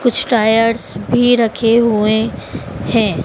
कुछ टायर्स भी रखे हुए है।